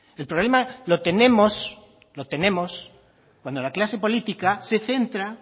el problema lo tenemos lo tenemos cuando la clase política se centra